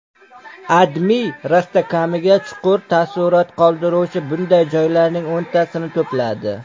AdMe rostakamiga chuqur taassurot qoldiruvchi bunday joylarning o‘ntasini to‘pladi .